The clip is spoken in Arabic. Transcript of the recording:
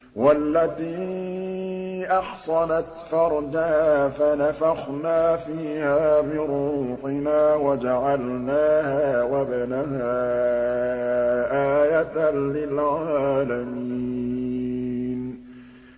وَالَّتِي أَحْصَنَتْ فَرْجَهَا فَنَفَخْنَا فِيهَا مِن رُّوحِنَا وَجَعَلْنَاهَا وَابْنَهَا آيَةً لِّلْعَالَمِينَ